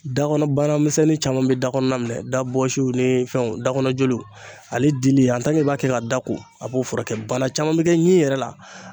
Da kɔnɔ banamisɛnnin caman be da kɔnɔna minɛ dabɔsiw ni fɛnw dakɔnɔ joliw ale dili an tan k'e b'a kɛ ka da ko a b'o furakɛ bana caman be kɛ ɲin yɛrɛ la